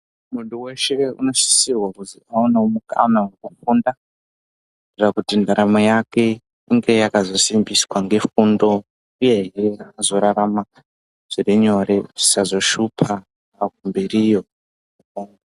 Muntu weshe unosisirwa kuti avane mukana wekufunda kuitira kuti ndaramo yake inge yakazombiswa ngefundo uye hee azorarama zviri nyore zvisazoshupa waakumberiyo.